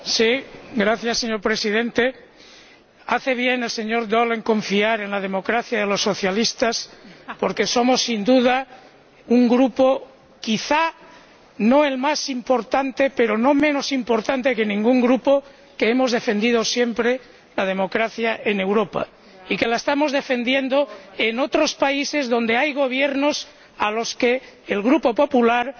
Señor Presidente, hace bien el señor Daul en confiar en la democracia de los socialistas porque somos sin duda un Grupo, quizá no el más importante pero no menos importante que ningún Grupo, que ha defendido siempre la democracia en Europa. Y que la estamos defendiendo en otros países donde hay gobiernos a los que el Grupo Popular suele